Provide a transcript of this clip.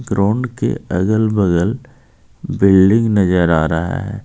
Ground के अगल-बगल building नजर आ रहा है.